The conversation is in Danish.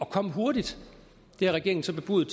komme hurtigt det har regeringen så bebudet